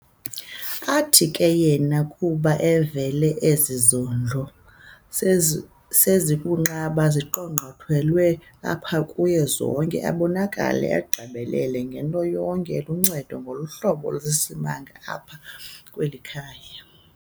Athi ke yena kuba evele ezi zondlo sezibunqaba, ziqongqothelwe apha kuye zonke, abonakale egqibelele ngento yonke, eluncedo ngohlobo olusimanga apha kweli khaya.